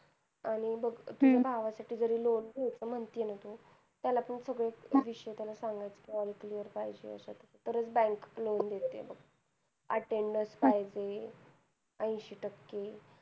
आणि बघ तुझं भावा साठी जरी loan घ्याच म्हणती आहे ना तू त्याला पण तू सगळ सांगत जा तुझ विषय clear पाहिजे असं तस तरच bank loan देते बघ attendance पाहिजे अंशी टक्के